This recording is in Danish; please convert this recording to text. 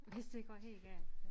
Hvis det går helt galt ja